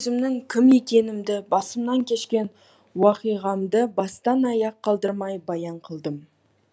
мен өзімнің кім екенімді басымнан кешкен уақиғамды бастан аяқ қалдырмай баян қылдым